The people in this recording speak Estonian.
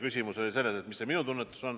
Küsimus oli selles, mis see minu tunnetus on.